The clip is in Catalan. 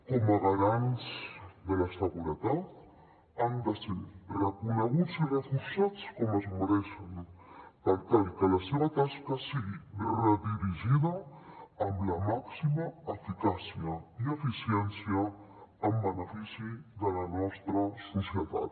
com a garants de la seguretat han de ser reconeguts i reforçats com es mereixen per tal que la seva tasca sigui redirigida amb la màxima eficàcia i eficiència en benefici de la nostra societat